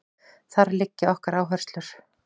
Þar liggja okkar áherslur